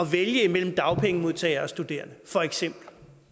vælge imellem dagpengemodtagere og studerende for eksempel